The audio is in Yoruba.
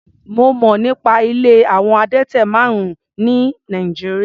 Mo mọ̀ nípa ilé àwọn adẹ́tẹ̀ márùn-ún ní Nàìjíríà.